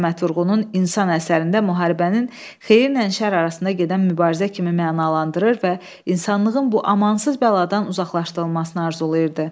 Səməd Vurğunun “İnsan” əsərində müharibəni xeyirlə şər arasında gedən mübarizə kimi mənalandırır və insanlığın bu amansız bəladan uzaqlaşdırılmasını arzulayırdı.